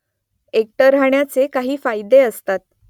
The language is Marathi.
एकटं राहण्याचे काही फायदे असतात